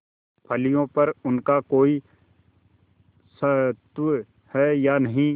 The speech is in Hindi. फलियों पर उनका कोई स्वत्व है या नहीं